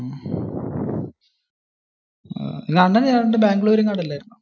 നിന്റെ അണ്ണൻ ഏതാണ്ട് ബാംഗ്ലൂർ എങ്ങാണ്ടു അല്ലായിരുന്നോ?